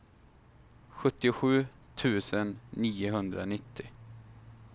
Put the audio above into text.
sjuttiosju tusen niohundranittio